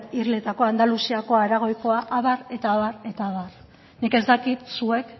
irletakoa andaluziakoa aragoikoa abar eta abar eta abar nik ez dakit zuek